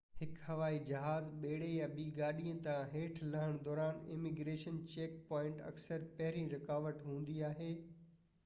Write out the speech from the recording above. هڪ هوائي جهاز ٻيڙي يا ٻي گاڏي تان هيٺ لهڻ دوران اميگريشن چيڪ پوائنٽ اڪثر پهرين رڪاوٽ هوندي آهي